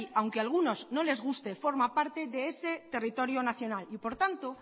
aunque algunos no les guste forma parte de ese territorio nacional y por tanto